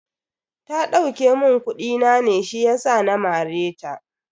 Ta dauke mun kudi na ne shiyasa na mare ta.